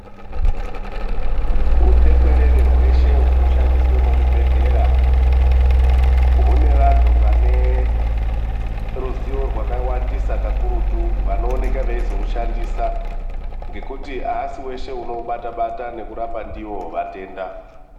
Utekwerede hweshe hunoshandiswe muzvibhedhlera, hune vantu vane ruziwo rwakawandisa kakurutu vanooneka vaizohushandisa, ngekuti havashi vese anoubata-bata nekurapa ndiwo vatenda.